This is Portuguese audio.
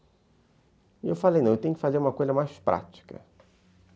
E eu falei, não, eu tenho que fazer uma coisa mais prática.